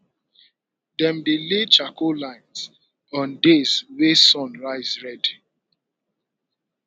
dem dey lay charcoal lines on days wey sun rise red